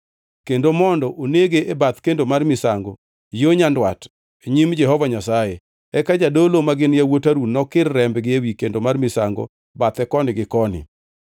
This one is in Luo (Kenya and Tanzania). Kendo mondo onege e bath kendo mar misango yo nyandwat nyim Jehova Nyasaye, eka jodolo magin yawuot Harun nokir rembgi ewi kendo mar misango bathe koni gi koni.